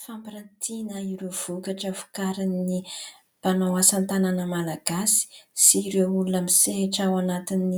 Fampiratiana ireo vokatra vokarin'ny mpanao asa tanana Malagasy sy ireo olona misehatra ao anatin'ny